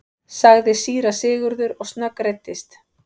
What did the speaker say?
sagði síra Sigurður og snöggreiddist.